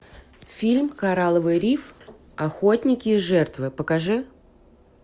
фильм коралловый риф охотники и жертвы покажи